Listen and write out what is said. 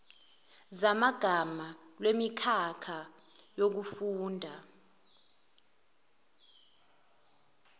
zamagama lwemikhakha yokufunda